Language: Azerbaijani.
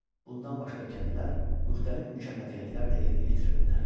Bundan başqa kəndlər müxtəlif mükəlləfiyyətlər də yerinə yetirirdilər.